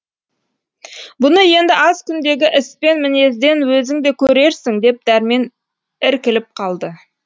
бұны енді аз күндегі іс пен мінезден өзің де көрерсің деп дәрмен іркіліп қалды